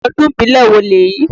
Ọdún ìbílè wo lèyí?